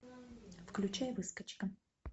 включай выскочка